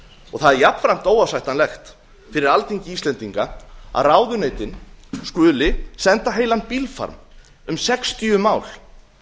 það er jafnframt óásættanlegt fyrir alþingi íslendinga að ráðuneytin skuli senda heilan bílfarm um sextíu mál